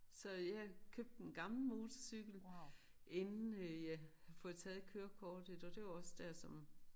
Så øh jeg købte en gammel motorcykel inden jeg havde fået taget kørekortet og det var også der som